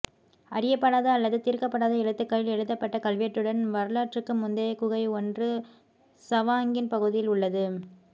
அறியப்படாத அல்லது தீர்க்கப்படாத எழுத்துக்களில் எழுதப்பட்ட கல்வெட்டுடன் வரலாற்றுக்கு முந்தைய குகை ஒன்று சவாங்கின் பகுதியில் உள்ளது